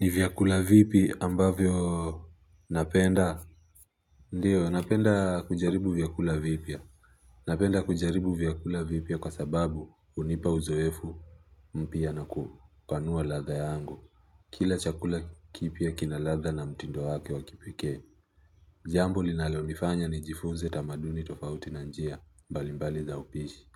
Ni vyakula vipi ambavyo napenda ndiyo napenda kujaribu vyakula vipya kwa sababu hunipa uzoefu mpya na kupanua ladha yangu. Kila chakula kipya kina ladha na mtindo wake wa kipekee. Jambo linalonifanya nijifunze tamaduni tofauti na njia mbalimbali za upishi.